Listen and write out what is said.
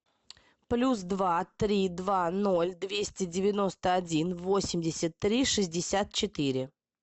плюс два три два ноль двести девяносто один восемьдесят три шестьдесят четыре